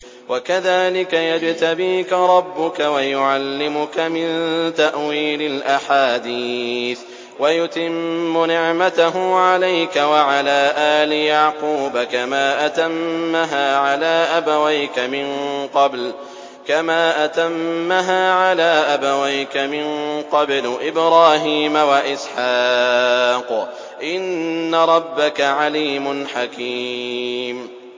وَكَذَٰلِكَ يَجْتَبِيكَ رَبُّكَ وَيُعَلِّمُكَ مِن تَأْوِيلِ الْأَحَادِيثِ وَيُتِمُّ نِعْمَتَهُ عَلَيْكَ وَعَلَىٰ آلِ يَعْقُوبَ كَمَا أَتَمَّهَا عَلَىٰ أَبَوَيْكَ مِن قَبْلُ إِبْرَاهِيمَ وَإِسْحَاقَ ۚ إِنَّ رَبَّكَ عَلِيمٌ حَكِيمٌ